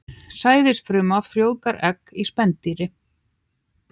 Sæðisfruma frjóvgar egg í spendýri.